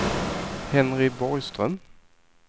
Henry Borgström